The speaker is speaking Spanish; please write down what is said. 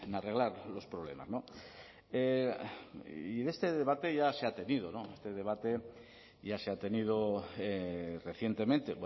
arreglar los problemas y este debate ya se ha tenido este debate ya se ha tenido recientemente